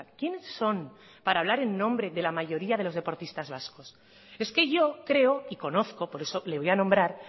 quién son para hablar en nombre de la mayoría de los deportistas vascos es que yo creo y conozco por eso le voy a nombrar